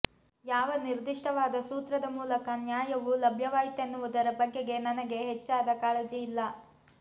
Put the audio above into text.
ಯಾವ ನಿರ್ದಿಷ್ಟವಾದ ಸೂತ್ರದ ಮೂಲಕ ನ್ಯಾಯವು ಲಭ್ಯವಾಯಿತೆನ್ನುವುದರ ಬಗೆಗೆ ನನಗೆ ಹೆಚ್ಚಾದ ಕಾಳಜಿ ಇಲ್ಲ